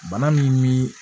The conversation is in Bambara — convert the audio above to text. Bana min bi